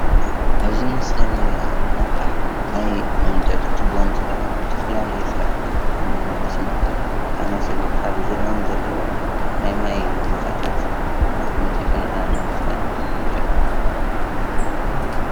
ኣብዚ ምስሊ እንረኦ ዘለና ኣቅሓ ናይ መምጠጢ ትቦ እንትከውን ዝተፈላለየ ስራሕቲ መስኖ ዝኣመሰሉ ኣብ ዝርኦም ዘለው ናይ ማይ ቦታት መጢጡ ንከምፅእ ይጠቅም።